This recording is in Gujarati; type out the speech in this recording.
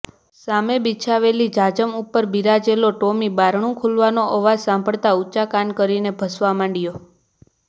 સામે બિછાવેલી જાજમ ઉપર બીરાજેલો ટોમી બારણું ખુલવાનો અવાજ સંભળાતાં ઊંચા કાન કરીને ભસવા માંડ્યો